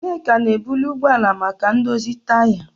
Nneka na-ebuli ụgbọ ala maka ndozi taya.